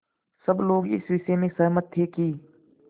सब लोग इस विषय में सहमत थे कि